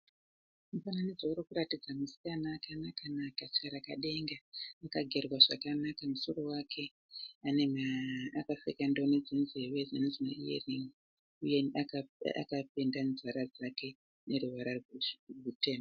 Mufananidzo urikuratidza musikana akanaka-naka tsvarakadenga. Akagerwa zvakanaka musoro wake, anema akapfeka ndoni dzemunzeve dzinonzi maiyerin'i uye akapenda nzwara dzake neruvara rutema.